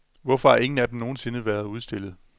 Hvorfor har ingen af dem nogen sinde været udstillet?